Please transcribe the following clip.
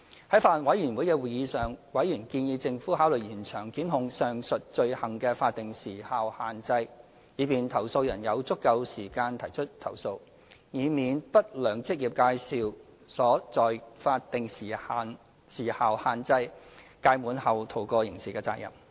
在法案委員會的會議上，委員建議政府考慮延長檢控上述罪行的法定時效限制，以便投訴人有足夠時間提出投訴，以免不良職業介紹所在法定時效限制屆滿後逃過刑事責任。